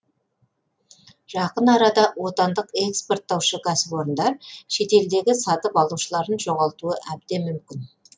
жақын арада отандық экспорттаушы кәсіпорындар шетелдегі сатып алушыларын жоғалтуы әбден мүмкін